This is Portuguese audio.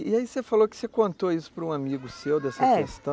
E aí você falou que você contou isso para um amigo seu, é, dessa questão.